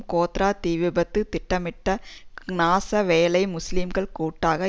கோத்ரா தீ விபத்து திட்டமிட்ட நாச வேலை முஸ்லிம்கள் கூட்டாக